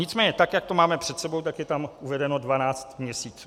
Nicméně tak jak to máme před sebou, tak je tam uvedeno 12 měsíců.